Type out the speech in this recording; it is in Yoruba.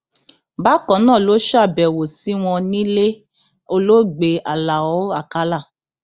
bákan náà ló ṣàbẹwò sí wọn nílẹ olóògbé aláọ àkàlà